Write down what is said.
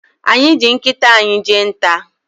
Anyị ji nkịta anyị jee nta.